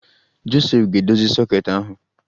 Josef ga-edozi soket ahụ